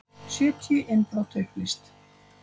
Sjötíu innbrot upplýst